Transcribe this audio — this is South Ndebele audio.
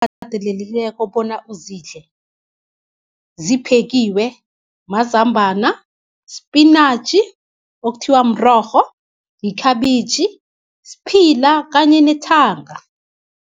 Akatelelikeko bona uzidle ziphekiwe mazambana, spinatjhi okuthiwa mrorho, yikhabitjhi, siphila kanye nethanga.